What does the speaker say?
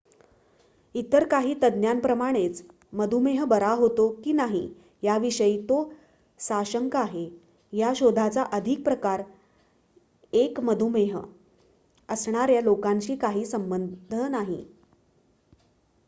इतर काही तज्ञांप्रमाणेच मधुमेह बरा होतो की नाही याविषयी तो साशंक आहे या शोधाचा आधीच प्रकार १ मधुमेह असणाऱ्या लोकांशी काही संबध नाही